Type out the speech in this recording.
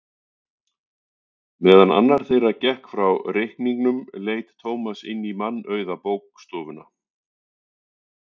Meðan annar þeirra gekk frá reikningnum leit Tómas inn í mannauða bókastofuna.